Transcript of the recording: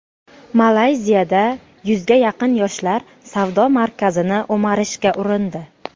Malayziyada yuzga yaqin yoshlar savdo markazini o‘marishga urindi.